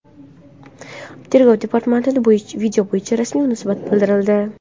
Tergov departamenti video bo‘yicha rasmiy munosabat bildirildi .